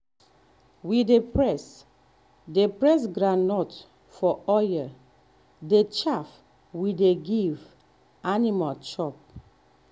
we dey press um dey press um groundnut for oil um the chaff we dey give um animal chop.